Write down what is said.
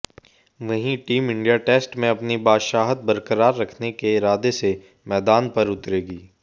वहीं team India test में अपनी बादशाहत बरकरार रखने के इरादे से मैदान पर उतरेगी